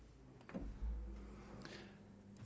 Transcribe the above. så